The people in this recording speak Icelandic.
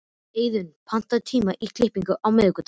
Eiðunn, pantaðu tíma í klippingu á miðvikudaginn.